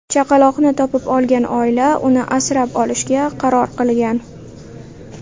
Chaqaloqni topib olgan oila uni asrab olishga qaror qilgan.